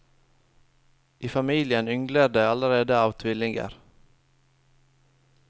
I familien yngler det allerede av tvillinger.